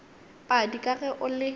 padi ka ge o le